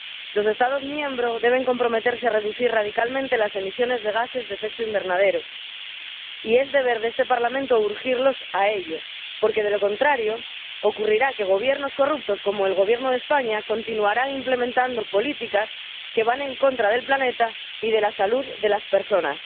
Los Estados miembros deben comprometerse a reducir radicalmente las emisiones de gases de efecto invernadero y es deber de este Parlamento urgirlos a ello, porque de lo contrario ocurrirá que gobiernos corruptos, como el Gobierno de España, continuarán implementando políticas que van en contra del planeta y de la salud de las personas.